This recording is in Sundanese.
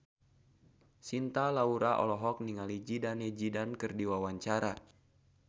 Cinta Laura olohok ningali Zidane Zidane keur diwawancara